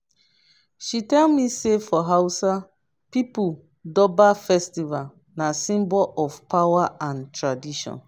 she tell me sey for hausa pipo durbar festival na symbol of power and tradition.